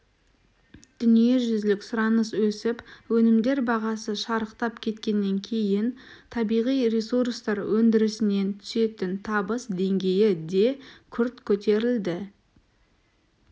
дүниежүзілік сұраныс өсіп өнімдер бағасы шарықтап кеткеннен кейін табиғи ресурстар өндірісінен түсетін табыс деңгейі де күрт көтерілді